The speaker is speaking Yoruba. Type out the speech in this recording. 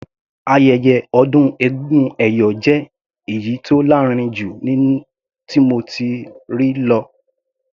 Ayẹyẹ ọdún egúngún ẹ̀yọ̀ jẹ́ èyí tó lárinrin jù tí mo ti rí lọ.